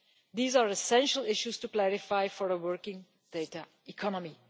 These are essential issues to clarify for a working data economy.